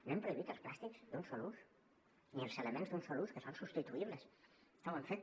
no hem prohibit els plàstics d’un sol ús ni els elements d’un sol ús que són substituïbles no ho hem fet